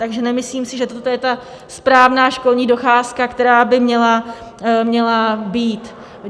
Takže nemyslím si, že toto je ta správná školní docházka, která by měla být.